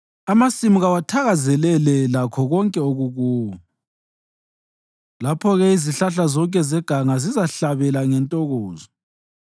amasimu kawathakazelele lakho konke okukuwo. Lapho-ke izihlahla zonke zeganga zizahlabela ngentokozo;